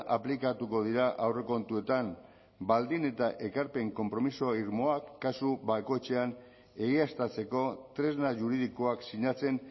aplikatuko dira aurrekontuetan baldin eta ekarpen konpromiso irmoak kasu bakoitzean egiaztatzeko tresna juridikoak sinatzen